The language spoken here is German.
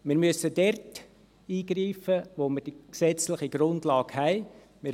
Wir müssen dort eingreifen, wo wir die gesetzliche Grundlage haben.